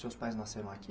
Seus pais nasceram aqui?